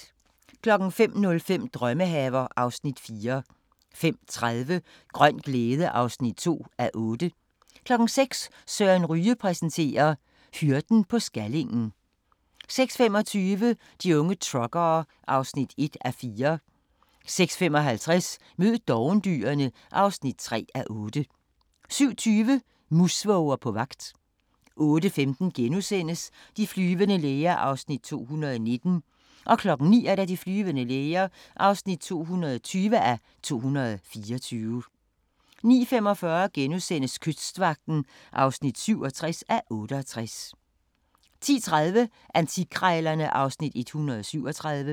05:05: Drømmehaver (Afs. 4) 05:30: Grøn glæde (2:8) 06:00: Søren Ryge præsenterer: Hyrden på Skallingen 06:25: De unge truckere (1:4) 06:55: Mød dovendyrene (3:8) 07:20: Musvåger på jagt 08:15: De flyvende læger (219:224)* 09:00: De flyvende læger (220:224) 09:45: Kystvagten (67:68)* 10:30: Antikkrejlerne (Afs. 137)